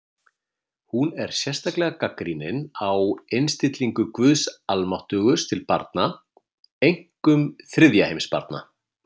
Hún er sérstaklega gagnrýnin á innstillingu guðs almáttugs til barna, einkum þriðja heims barna.